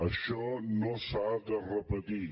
això no s’ha de repetir